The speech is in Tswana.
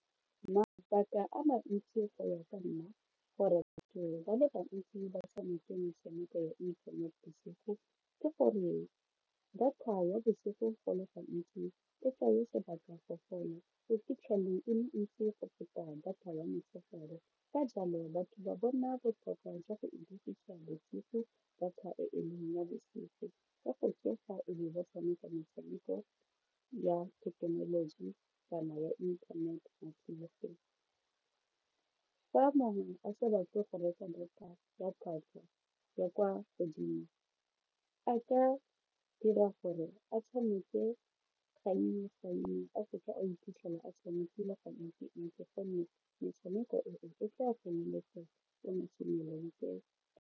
Mabaka a mantsi go ya ka nna gore batho ba le bantsi ba tshameke metshameko ya inthanete bosigo ke gore data ya bosigo go le gantsi e tsaya sebaka go fela e le ntsi go feta data ya motshegare ka jalo batho ba bona botlhokwa jwa go e dirisa bosigo data e e leng ya bosigo ka go tsoga e be ba tshameka metshameko ya thekenoloji kana ya inthanete bosigo, fa mongwe a sa batle go reka data ya tlhwatlhwa ya kwa godimo a ka dira gore a tshameke gannye gannye a se ka a iphitlhela a tshamekile ga ntsi-ntsi gonne metshameko eo e tla a tsenyeletsa le mo .